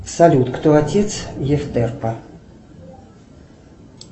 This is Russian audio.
салют кто отец ефтерпа